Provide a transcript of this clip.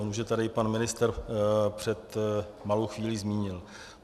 On už je tady pan ministr před malou chvílí zmínil.